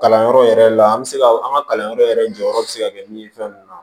Kalanyɔrɔ yɛrɛ la an bɛ se ka an ka kalanyɔrɔ yɛrɛ jɔyɔrɔ bɛ se ka kɛ min ye fɛn ninnu na